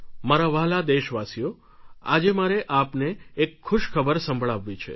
મારા વ્હાલા દેશવાસીઓ આજે મારે આપને એક ખુશખબર સંભળાવવી છે